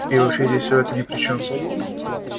и вообще здесь всё это ни при чём